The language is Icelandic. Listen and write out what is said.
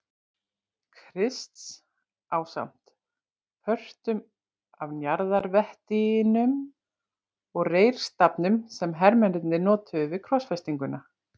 Krists ásamt pörtum af njarðarvettinum og reyrstafnum sem hermennirnir notuðu við krossfestinguna.